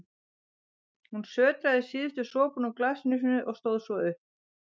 Hún sötraði síðustu sopana úr glasinu sínu og stóð svo upp.